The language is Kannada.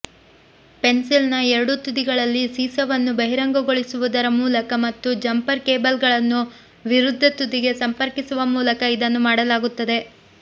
ಪೆನ್ಸಿಲ್ನ ಎರಡೂ ತುದಿಗಳಲ್ಲಿ ಸೀಸವನ್ನು ಬಹಿರಂಗಗೊಳಿಸುವುದರ ಮೂಲಕ ಮತ್ತು ಜಂಪರ್ ಕೇಬಲ್ಗಳನ್ನು ವಿರುದ್ಧ ತುದಿಗೆ ಸಂಪರ್ಕಿಸುವ ಮೂಲಕ ಇದನ್ನು ಮಾಡಲಾಗುತ್ತದೆ